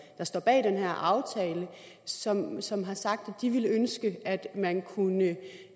der står bag den her aftale som som har sagt at de ville ønske at man kunne